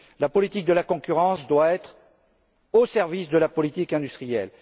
La politique de la concurrence doit être au service de la politique industrielle.